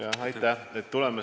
Yoko Alender, palun!